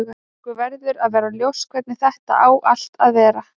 Okkur verður að vera ljóst hvernig þetta á allt að vera.